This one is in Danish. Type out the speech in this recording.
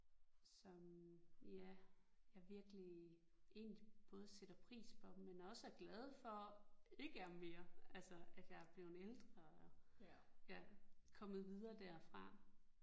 Som ja jeg virkelig egentlig både sætter pris på men også er glad for ikke er mere altså at jeg er blevet ældre og ja kommet videre derfra